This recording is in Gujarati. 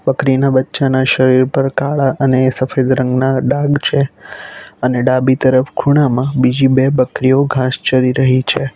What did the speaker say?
બકરીના બચ્ચાના શરીર પર કાળા અને સફેદ રંગના ડાઘ છે અને ડાબી તરફ ખૂણામાં બીજી બે બકરીઓ ઘાસ ચરી રહી છે.